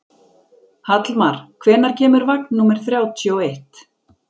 Hallmar, hvenær kemur vagn númer þrjátíu og eitt?